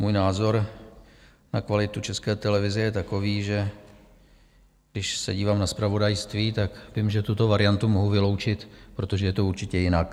Můj názor na kvalitu České televize je takový, že když se dívám na zpravodajství, tak vím, že tuto variantu mohu vyloučit, protože je to určitě jinak.